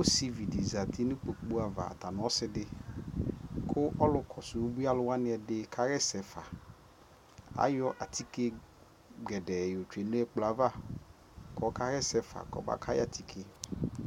ɔsiivi dizati nʋ ikpɔkʋ aɣa ɔtanʋ ɔsiidi kʋ ɔlʋ kɔsʋ ʋbʋi alʋ wani ɛdi kayɛsɛ ƒa, ayɔ atikè gɛdɛɛ yɔ twɛnʋ ɛkplɔɛ aɣa kʋ ɔka yɛsɛ ƒa kʋ ɔba kayi atikè